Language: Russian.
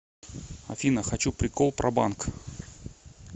афина хочу прикол про банк